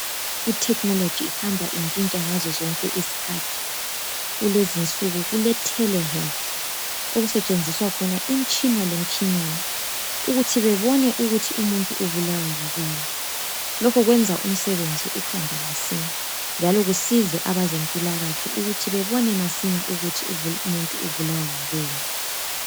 Ithekhinoloji ihamba intshintsha ngazo zonke isikhathi. Kulezi insuku kuletelehealth okusentshenziswa khona imitshina lemitshinyana lokhu kwenza umsebenzi uhambe masinya njalo kusiza abezimpilakahle bebone ukuthi umuntu ogulayo ubulawa yini.